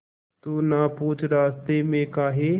तू ना पूछ रास्तें में काहे